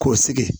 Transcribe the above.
K'o sigi